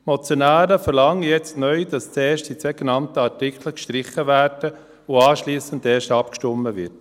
Die Motionäre verlangen jetzt neu, dass zuerst die zwei genannten Artikel gestrichen werden und anschliessend erst abgestimmt wird.